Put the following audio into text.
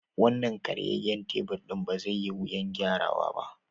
Wannan karyayyen tabur ɗin ba zai yi wuyan gyara wa ba.